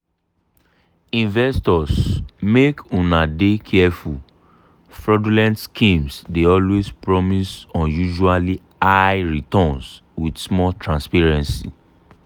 investors make una dey careful fraudulent schemes dey always promise unusually high returns with small transparency.